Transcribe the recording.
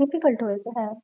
difficult হয়তো হ্যাঁ